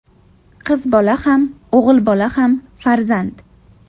Qiz bola ham, o‘g‘il bola ham farzand.